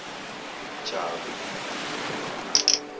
jabu